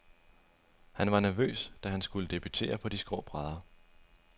Han var nervøs, da han skulle debutere på de skrå brædder.